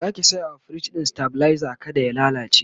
Zaki saya wa firij ɗin stabilizer kada ya lallace?